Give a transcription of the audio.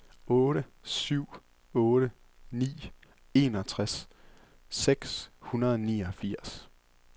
otte syv otte ni enogtres seks hundrede og niogfirs